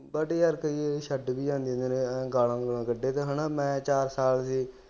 but ਯਾਰ ਫਿਰ ਵੀ ਉਹ ਛੱਡ ਵੀ ਜਾਂਦੇ ਜਿਹੜੇ ਹੈਨਾ ਗਾਲ੍ਹਾਂ ਗੁਲਾ ਕਢੇ ਤਾ ਹੈਨਾ ਮੈਂ ਚਾਰ ਸਾਲ ਵੀ